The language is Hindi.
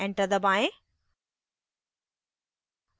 enter दबाएं